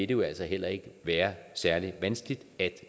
jo altså heller ikke være særlig vanskeligt at